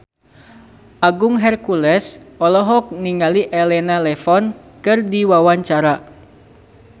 Agung Hercules olohok ningali Elena Levon keur diwawancara